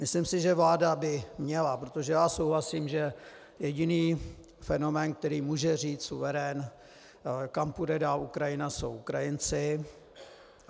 Myslím si, že vláda by měla - protože já souhlasím, že jediný fenomén, který může říct, suverén, kam půjde dál Ukrajina, jsou Ukrajinci.